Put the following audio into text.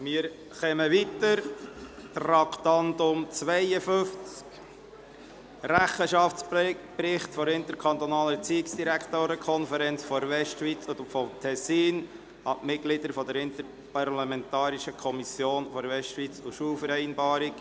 Wir fahren weiter und kommen zum Traktandum 52, dem «Rechenschaftsbericht […] der interkantonalen Erziehungsdirektorenkonferenz der Westschweiz und des Tessins an die Mitglieder der interparlamentarischen Kommission der Westschweizer Schulvereinbarung;